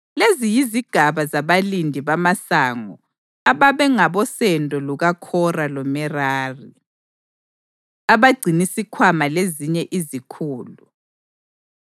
Lezi yizigaba zabalindi bamasango ababengabosendo lukaKhora loMerari. Abagcinisikhwama Lezinye Izikhulu